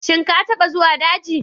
Shin ka taɓa zuwa daji?